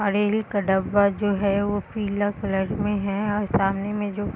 और रेल का डब्बा जो है वो पीला कलर में है और सामने में जो --